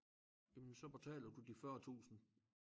Jamen så betaler du de 40 tusind